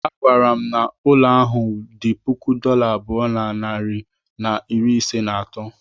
A gwara m ụlọ ahụ dị puku dollar abụọ na narị na iri ise na atọ.